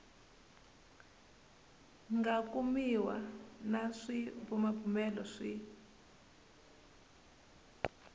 nga kumiwa na swibumabumelo swi